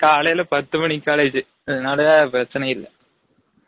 காலைலா பத்து மனிக்கு college அதுனால பிரசன்னை இல்ல